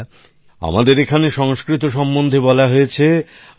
বন্ধুরা আমাদের এখানে সংস্কৃত সম্বন্ধে বলা হয়েছে